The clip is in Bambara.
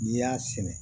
N'i y'a sɛnɛ